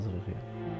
Hazırıq, yəni.